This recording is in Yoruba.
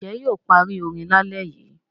Ǹjẹ́ yóò parí orin lálẹ́ yìí?